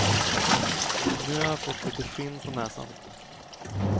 Nu har jag fått lite skinn på näsan.